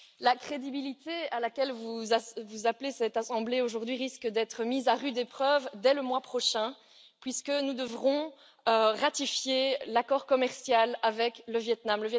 La crédibilité à laquelle vous appelez cette assemblée aujourd'hui risque d'être mise à rude épreuve dès le mois prochain, puisque nous devrons ratifier l'accord commercial avec le Viêt Nam.